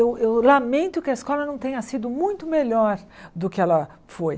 Eu eu lamento que a escola não tenha sido muito melhor do que ela foi.